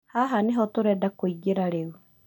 Haha nĩho tũrenda kũingĩra rĩu